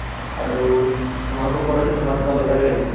আৰু তোমালোকক কʼলে যে তোমাৰ কিবা lottery লাগিছে ।